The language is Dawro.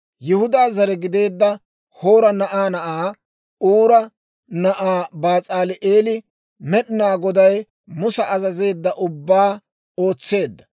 Yihudaa zare gideedda Hoora na'aa na'aa, Uura na'aa, Bas'aali'eeli Med'inaa Goday Musa azazeedda ubbaa ootseedda.